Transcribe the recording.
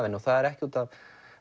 henni og það er ekki út af